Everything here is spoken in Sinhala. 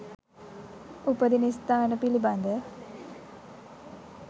උපදින ස්ථාන පිළිබඳ